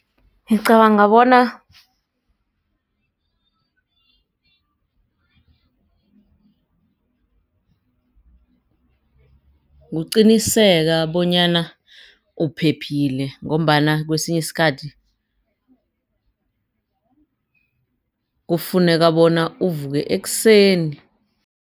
Ngicabanga bona kuqiniseka bonyana uphephile ngombana kwesinye isikhathi kufuneka bona uvuke ekuseni.